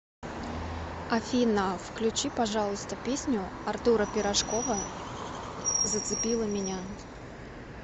афина включи пожалуйста песню артура пирожкова зацепила меня